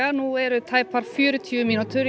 nú eru tæpar fjörutíu mínútur í